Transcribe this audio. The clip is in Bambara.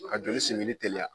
Ka joli singini teliya.